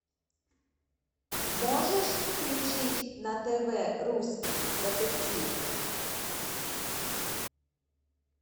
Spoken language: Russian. можешь включить на тв русский детектив